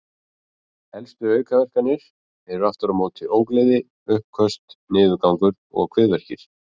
Helstu aukaverkanir eru aftur á móti ógleði, uppköst, niðurgangur og kviðverkir.